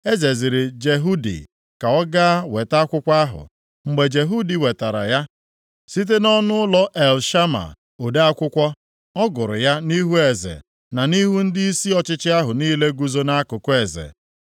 Eze ziri Jehudi ka ọ gaa weta akwụkwọ ahụ. Mgbe Jehudi wetara ya site nʼọnụụlọ Elishama, ode akwụkwọ, ọ gụrụ ya nʼihu eze, na nʼihu ndịisi ọchịchị ahụ niile guzo nʼakụkụ eze.